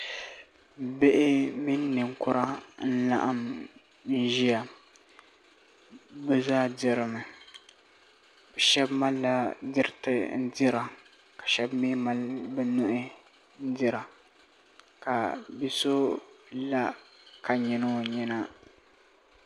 Bihi mini ninkura n laɣim n ʒiya bi zaa dirimi shaba malila diriti n dira ka shaba mii mali bi nuhi n dira ka bi so la ka nyili o nyina